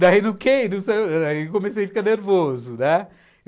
Daí no Kane, comecei a ficar nervoso, né?